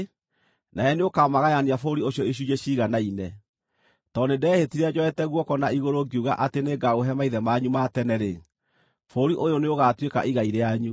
Nawe nĩũkamagayania bũrũri ũcio icunjĩ ciiganaine. Tondũ nĩndehĩtire njoete guoko na igũrũ ngiuga atĩ nĩngaũhe maithe manyu ma tene-rĩ, bũrũri ũyũ nĩũgaatuĩka igai rĩanyu.